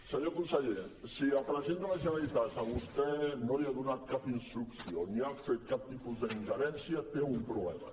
senyor conseller si el president de la generalitat a vostè no li ha donat cap ins·trucció ni ha fet cap tipus d’ingerència té un problema